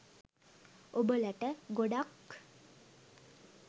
ඔබලට ගොඩක්